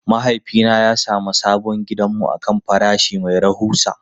Mahaifina ya sami sabon gidanmu akan farashi mai rahusa.